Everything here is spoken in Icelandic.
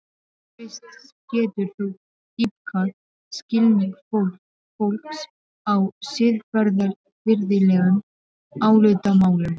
Krists getur þó dýpkað skilning fólks á siðferðilegum álitamálum.